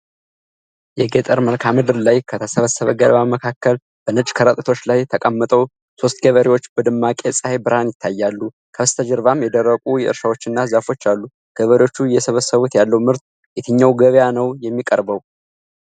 የገጠር መልክዓ ምድር ላይ፣ ከተሰበሰበ ገለባ መካከል በነጭ ከረጢቶች ላይ ተቀምጠው፣ ሦስት ገበሬዎች በደማቅ የፀሐይ ብርሃን ይታያሉ፣ ከበስተጀርባም የደረቁ እርሻዎችና ዛፎች አሉ። ገበሬዎቹ እየሰበሰቡት ያለው ምርት የትኛው ገበያ ነው የሚቀርበው?